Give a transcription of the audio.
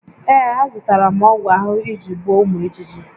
Ee, azụtara m ọgwụ ahụhụ iji gbuo ụmụ ijiji